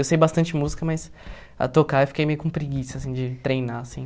Eu sei bastante música, mas a tocar eu fiquei meio com preguiça, assim, de treinar, assim.